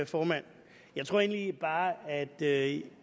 formand jeg tror egentlig bare at